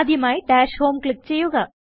ആദ്യമായി dash home click ചെയ്യുക